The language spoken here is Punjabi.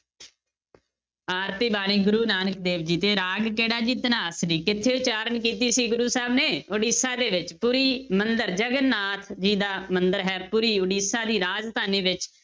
ਆਰਤੀ ਬਾਣੀ ਗੁਰੂ ਨਾਨਕ ਦੇਵ ਜੀ ਤੇ ਰਾਗ ਕਿਹੜਾ ਜੀ ਧਨਾਸਰੀ, ਕਿੱਥੇ ਉਚਾਰਨ ਕੀਤੀ ਸੀ ਗੁਰੂ ਸਾਹਿਬ ਨੇ, ਉੜੀਸਾ ਦੇ ਵਿੱਚ, ਪੁਰੀ ਮੰਦਿਰ ਜਗਨਾਥ ਜੀ ਦਾ ਮੰਦਿਰ ਹੈ, ਪੁਰੀ ਉੜੀਸਾ ਦੀ ਰਾਜਧਾਨੀ ਵਿੱਚ।